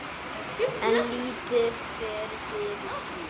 En lítið fer fyrir því.